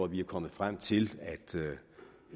vi er kommet frem til